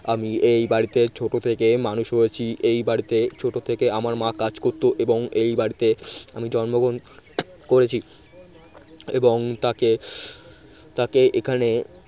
আমি এই বাড়িতে ছোট থেকেই মানুষ হয়েছি এই বাড়িতে ছোট থেকেই আমার মা কাজ করতো এবং এই বাড়িতে আমি জন্মগ্রহণ করেছি। এবং তাকে তাকে এখানে